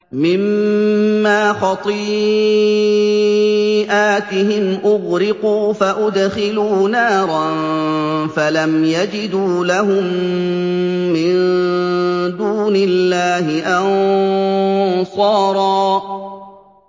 مِّمَّا خَطِيئَاتِهِمْ أُغْرِقُوا فَأُدْخِلُوا نَارًا فَلَمْ يَجِدُوا لَهُم مِّن دُونِ اللَّهِ أَنصَارًا